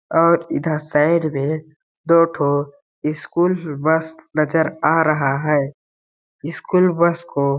और इधर साइड में दो ठो स्कूल इशकूल बस नजर आ रहा है इशकूल बस को --